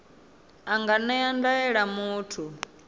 a nga ṅea ndaela muthu